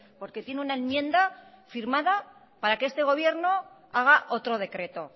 porque tiene una enmienda firmada para que este gobierno haga otro decreto